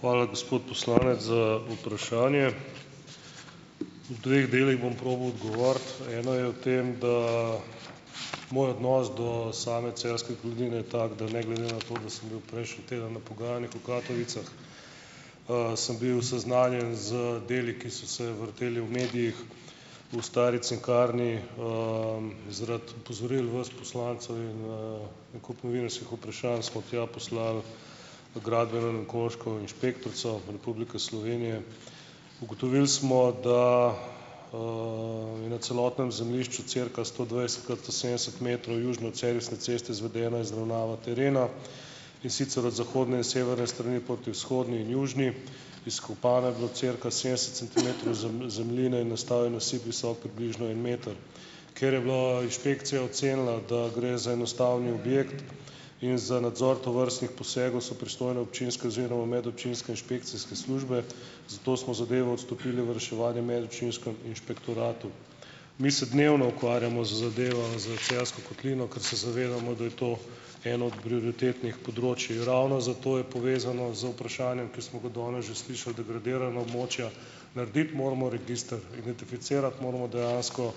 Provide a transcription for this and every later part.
Hvala, gospod poslanec, za vprašanje. V dveh delih bom probal odgovoriti. Eno je v tem, da moj odnos do same Celjske kotline je tak, da ne glede na to, da sem bil prejšnji teden na pogajanjih v Katovicah, sem bil seznanjen z deli, ki so se vrteli v medijih, v stari cinkarni zaradi opozoril vas poslancev in, en kup novinarskih vprašanj, smo tja poslali gradbeno in okoljsko inšpektorico Republike Slovenije. Ugotovili smo, da je na celotnem zemljišču cirka sto dvajset krat sto sedemdeset metrov južno od servisne ceste izvedena izravnava terena, in sicer od zahodne in severne strani poti vzhodni in južni. Izkopano je bilo cirka sedemdeset centimetrov zemljine in nastal je nasip, visok približno en meter. Ker je bilo inšpekcija ocenila, da gre za enostavni objekt, in za nadzor tovrstnih posegov so pristojne občinske oziroma medobčinske inšpekcijske službe, zato smo zadevo odstopili v reševanje medobčinskemu inšpektoratu. Mi se dnevno ukvarjamo z zadevo, s Celjsko kotlino, ker se zavedamo, da je to en od prioritetnih področij, ravno zato je povezano z vprašanjem, ki smo ga danes že slišali, degradirana območja, narediti moramo register, identificirati moramo dejansko,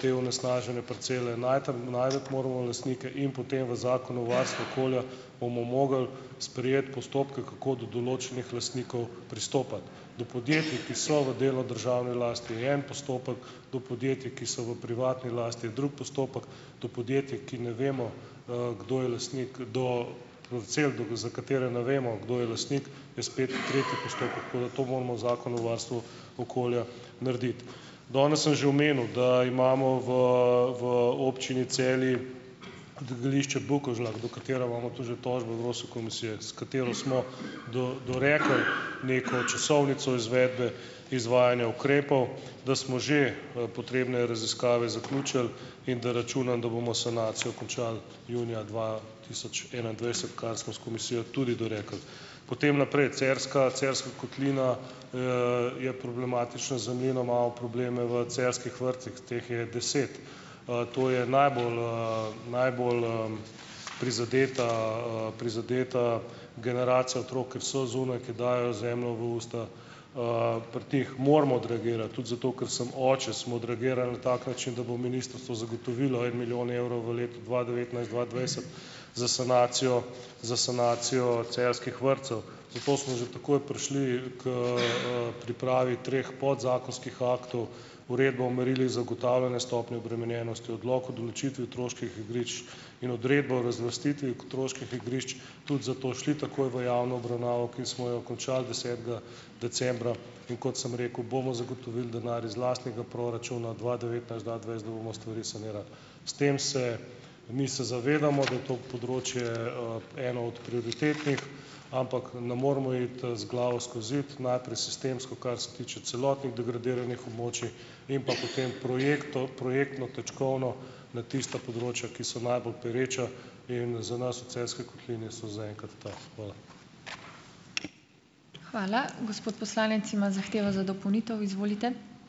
te onesnažene parcele, najti najti moramo lastnike in potem v Zakonu o varstvu okolja bomo mogli sprejeti postopke, kako do določenih lastnikov pristopati. Do podjetij, ki so v delu državni lasti, je en postopek, do podjetij, ki so v privatni lasti, je drug postopek, do podjetij, ki ne vemo, kdo je lastnik do, za katere ne vemo, kdo je lastnik, je spet tretji postopek, tako da to moramo v Zakon o varstvu okolja narediti. Danes sem že omenil, da imamo v v občini Celje degradišče Bukovžlak, do katere imamo tu že tožbo Evropske komisije, s katero smo dorekli neko časovnico izvedbe izvajanja ukrepov, da smo že, potrebne raziskave zaključili, in da računam, da bomo sanacijo končali junija dva tisoč enaindvajset, kar smo s komisijo tudi dorekli. Potem naprej, Cerska Celjska kotlina je problematična za mene malo probleme v celjskih vrtcih, teh je deset, to je najbolj, najbolj, prizadeta, prizadeta generacija otrok, ker so zunaj, ker dajejo zemljo v usta, pri teh moramo odreagirati tudi zato, ker sem oče, smo odreagirali tak način, da bo ministrstvo zagotovilo en milijon evrov v letu dva devetnajst-dva dvajset za sanacijo za sanacijo celjskih vrtcev. Zato smo že takoj prišli, ker, pripravi treh podzakonskih aktov, uredbo o merilih zagotavljanja stopnje obremenjenosti, odlok o določitvi otroških igrišč in odredbo o razvrstitvi otroških igrišč, tudi zato šli takoj v javno obravnavo, ki smo jo končali desetega decembra, in kot sem rekel, bomo zagotovili denar iz lastnega proračuna dva devetnajst-dva dvajset, da bomo stvari sanirali. S tem se ... Mi se zavedamo, da je to področje, eno od prioritetnih, ampak ne moramo iti z glavo skozi zid, najprej sistemsko, kar se tiče celotnih degradiranih območij, in pa potem projektno točkovno na tista področja, ki so najbolj pereča, in za nas v Celjski kotlini so zaenkrat ta.